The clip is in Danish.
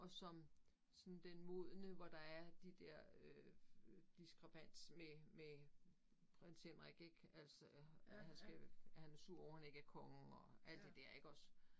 Og som sådan den modne hvor der er de der øh øh diskrepans med med Prins Henrik ik altså han skal han er sur over han ikke er konge og alt det der iggås